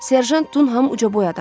Serjant Dunham ucaboy adam idi.